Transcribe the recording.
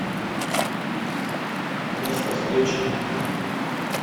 место встречи